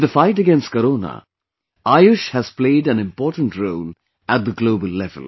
In the fight against Corona, AYUSH has played an important role, at the global level